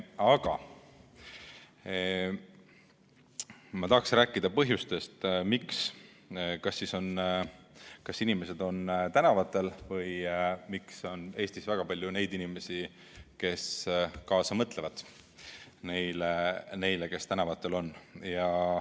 Aga ma tahaksin rääkida põhjustest, miks on inimesed tänavatel või miks on Eestis väga palju neid inimesi, kes kaasa mõtlevad neile, kes tänavatel on.